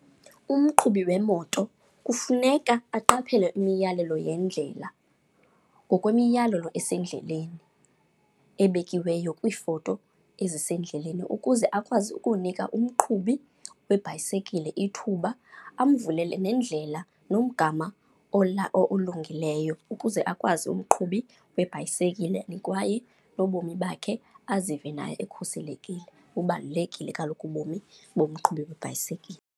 Umqhubi wemoto kufuneka aqaphele imiyalelo yendlela ngokwemiyalelo esendleleni, ebekiweyo kwiifoto ezisendleleni ukuze akwazi ukunika umqhubi webhayisekile ithuba. Amvulele nendlela, nomgama olungileyo ukuze akwazi umqhubi webhayisekile and kwaye nobomi bakhe azive naye ekhuselekile. Bubalulekile kaloku ubomi bomqhubi webhayisekile.